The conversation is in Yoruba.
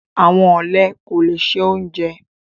Àwọn ọlẹ kò lẹ̀ ṣẹ ọ̀unjẹ